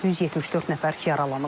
174 nəfər yaralanıb.